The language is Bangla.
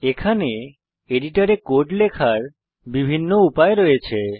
এখানে এডিটরে কোড লেখার বিভিন্ন উপায় রয়েছে